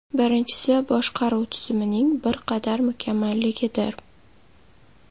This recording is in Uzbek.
Birinchisi, boshqaruv tizimining bir qadar mukammalligidir.